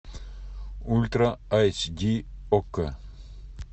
ультра эйч ди окко